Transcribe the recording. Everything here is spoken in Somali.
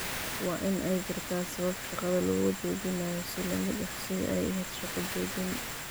Waa in ay jirtaa sabab shaqada looga joojinayo si la mid ah sidii ay ahayd shaqo-joojin.